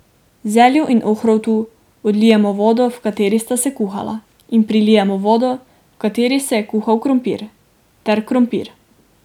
Zelju in ohrovtu odlijemo vodo, v kateri sta se kuhala, in prilijemo vodo, v kateri se je kuhal krompir, ter krompir.